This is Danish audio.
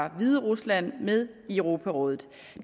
af hviderusland med i europarådet